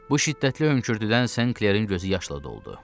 Bu şiddətli hönkürtüdən St. Klerin gözü yaşla doldu.